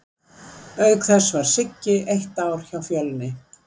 Auk þess var Siggi eitt ár hjá Fjölni.